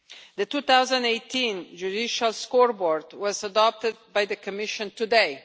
The 2018 Justice Scoreboard was adopted by the Commission today.